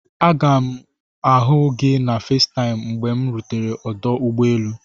Aga m ihu gị na Fesitaimu mgbe m rutere ọdụ ụgbọ elu.